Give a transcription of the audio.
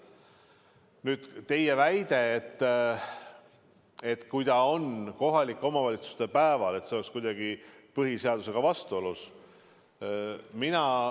Nüüd teie väide, et kui see on kohalike valimiste päeval, et siis see oleks kuidagi põhiseadusega vastuolus.